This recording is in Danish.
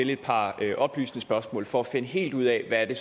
et par oplysende spørgsmål for at finde helt ud af hvad det